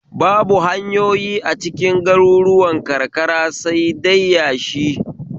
Babu hanyoyi acikin garuruwan karkara sai dai yashi